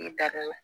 N da la